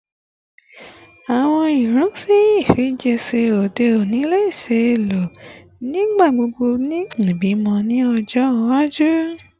Awọn irinṣẹ ifijiṣẹ ode oni le ṣee lo nigbagbogbo ni ibimọ ni ọjọ iwaju?